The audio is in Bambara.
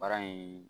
Baara in